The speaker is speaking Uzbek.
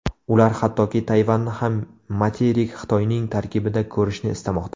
Ular hattoki Tayvanni ham materik Xitoyning tarkibida ko‘rishni istamoqda.